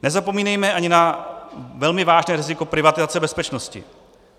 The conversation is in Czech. Nezapomínejme ani na velmi vážné riziko privatizace bezpečnosti.